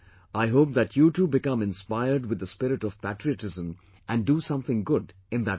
I hope that you too become inspired with the spirit of patriotism and do something good in that vein